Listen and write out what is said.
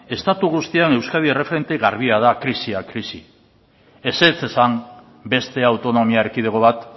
estatu guztian euskadi erreferente garbia da krisiak krisi ezetz esan beste autonomia erkidego bat